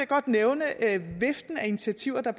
godt nævne viften af initiativer der